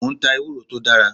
Mo ń ta ewúro tó dára.